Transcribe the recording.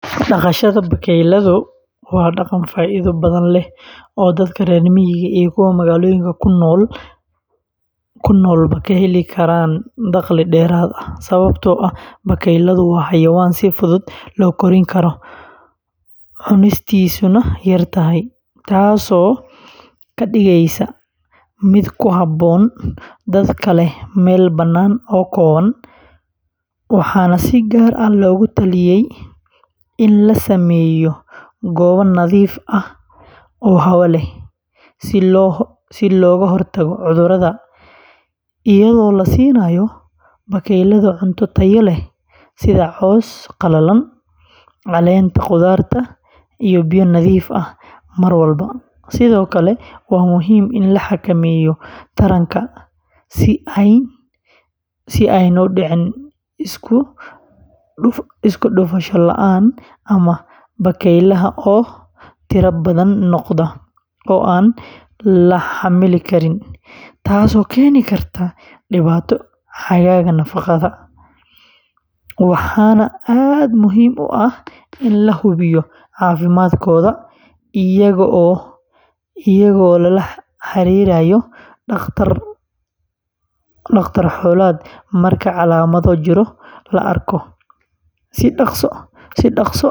Dhaqashada bakaylaha waa dhaqan faa'iido badan leh oo dadka reer miyiga iyo kuwa magaalooyinka ku noolba ka heli karaan dakhli dheeraad ah, sababtoo ah bakayluhu waa xayawaan si fudud loo kori karo, cunistiisuna yar tahay, taasoo ka dhigaysa mid ku habboon dadka leh meel bannaan oo kooban, waxaana si gaar ah loogu taliyay in la sameeyo goobo nadiif ah oo hawo leh, si looga hortago cudurrada, iyadoo la siinayo bakaylaha cunto tayo leh sida caws qalalan, caleenta qudaarta, iyo biyo nadiif ah mar walba; sidoo kale, waa muhiim in la xakameeyo taranka si aanay u dhicin isku dhufasho la’aan ama bakaylaha oo tira badan noqda oo aan la xamili karin, taas oo keeni karta dhibaato xagga nafaqada ah, waxaana aad muhiim u ah in la hubiyo caafimaadkooda iyadoo lala xiriirayo dhakhtar xoolaad marka calaamado jirro la arko, si dhaqso ahna loo daaweeyo.